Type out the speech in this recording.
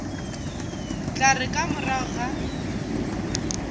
tla re ka morago ga